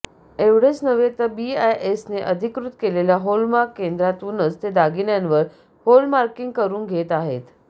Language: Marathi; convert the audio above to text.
एवढेच नव्हे तर बीआयएसने अधिकृत केलेल्या हॉलमार्क केंद्रातूनच ते दागिन्यावर हॉलमार्किंग करून घेत आहेत